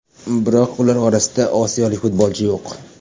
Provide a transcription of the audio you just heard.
Biroq ular orasida osiyolik futbolchi yo‘q.